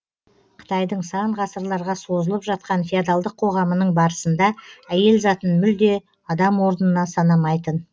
қытайдың сан ғасырларға созылып жатқан феодалдық қоғамының барысында әйел затын мүлде адам орнына санамайтын